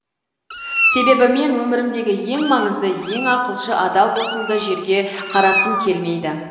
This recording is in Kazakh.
себебі мен өмірімдегі ең маңызды ең ақылшы адал досымды жерге қаратқым келмейді